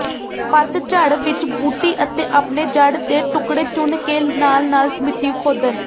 ਪਤਝੜ ਵਿਚ ਬੂਟੀ ਅਤੇ ਆਪਣੇ ਜੜ੍ਹ ਦੇ ਟੁਕੜੇ ਚੁਣ ਕੇ ਨਾਲ ਨਾਲ ਮਿੱਟੀ ਖੋਦਣ